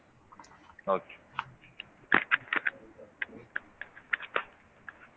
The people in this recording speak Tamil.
okay